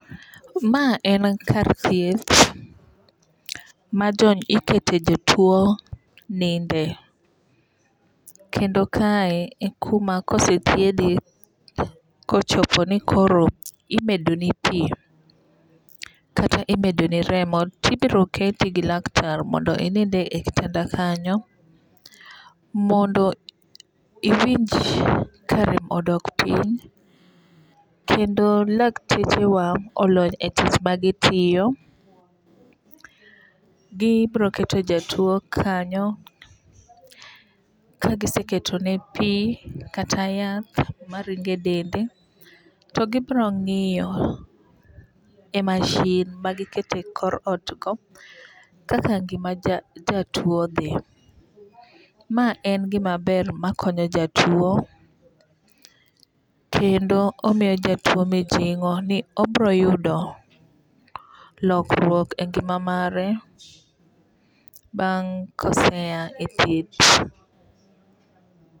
Ma en kar thieth ma ikete jotuo ninde. Kendo kae ekuma kosethiedhi kochopo ni koro imedo ni pi kata imedoni remo tibiro keti gi laktar mondo inind e kitanda kanyo mondo iwinj karem odok piny. Kendo lakteche wa olony e tich magitiyo. Gibiro keto jatuo kanyo. Kagiseketone pi kata yath maringe e dende to gibiro ng'iyo e masin magiketo e kor ot no kaka ngima jatuo dhi. Ma en gima ber makonyo jatuo kendo omiyo jatuo mijing'o ni obiro yudo lokruook e ngima mare bang' kose a e thieth.